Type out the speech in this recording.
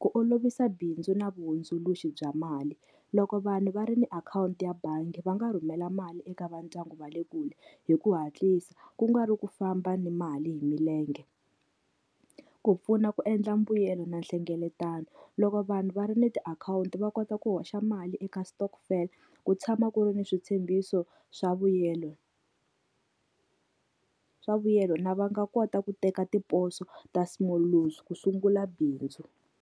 ku olovisa bindzu na vahundzuluxi bya mali, loko vanhu va ri ni akhawunti ya bangi va nga rhumela mali eka vandyangu va le kule hi ku hatlisa ku nga ri ku famba ni mali hi milenge. Ku pfuna ku endla mbuyelo na nhlengeletano, loko vanhu va ri ni tiakhawunti va kota ku hoxa mali eka stokvel ku tshama ku ri ni switshembiso swa vuyelo swa vuyelo na va nga kota ku teka tiposo ta small loans ku sungula bindzu.